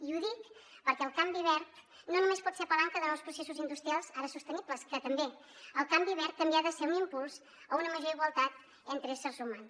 i ho dic perquè el canvi verd no només pot ser palanca de nous processos industrials ara sostenibles que també el canvi verd també ha de ser un impuls a una major igualtat entre éssers humans